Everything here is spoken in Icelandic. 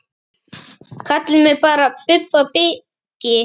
Kallið mig bara Bubba byggi.